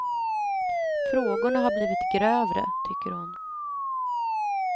Frågorna har blivit grövre, tycker hon.